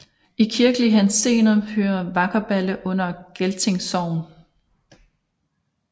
I kirkelig henseende hører Vakkerballe under Gelting Sogn